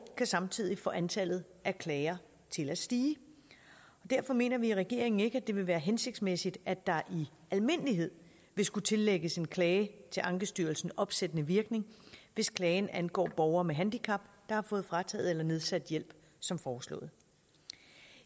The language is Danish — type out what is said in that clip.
kan samtidig få antallet af klager til at stige og derfor mener vi i regeringen ikke at det vil være hensigtsmæssigt at der i almindelighed vil skulle tillægges en klage til ankestyrelsen opsættende virkning hvis klagen angår borgere med handicap der har fået frataget eller nedsat hjælp som foreslået